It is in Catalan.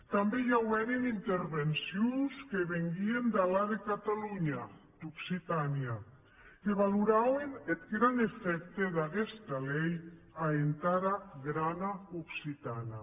tanben i aueren intervencions que venguien d’enlà de catalonha d’occitània que valorauen eth gran efècte d’aguesta lei a entara grana occitània